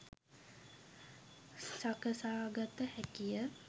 සකසාගත හැකිය.